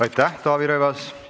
Aitäh, Taavi Rõivas!